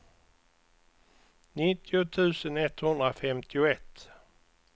nittio tusen etthundrafemtioett